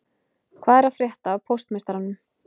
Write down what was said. Hvað er að frétta af póstmeistaranum